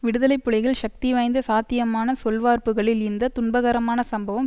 விடுதலை புலிகள் சக்திவாய்ந்த சாத்தியமான சொல்வார்ப்புகளில் இந்த துண்பகரமான சம்பவம்